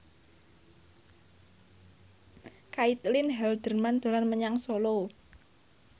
Caitlin Halderman dolan menyang Solo